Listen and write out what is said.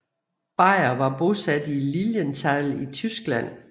Beyer var bosat i Lilienthal i Tyskland